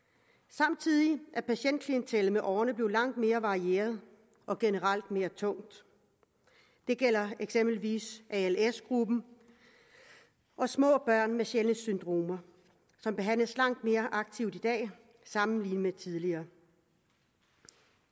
samtidig er patientklientellet med årene blevet langt mere varieret og generelt mere tungt det gælder eksempelvis als gruppen og små børn med sjældne syndromer som behandles langt mere aktivt i dag sammenlignet med tidligere